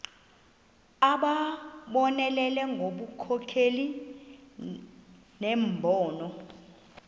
abonelele ngobunkokheli nembono